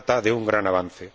se trata de un gran avance.